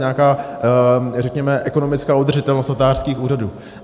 Nějaká, řekněme, ekonomická udržitelnost notářských úřadů.